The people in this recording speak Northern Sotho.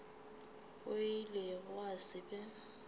go ile gwa se be